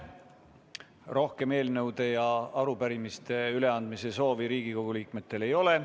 Rohkem eelnõude ja arupärimiste üleandmise soovi Riigikogu liikmetel ei ole.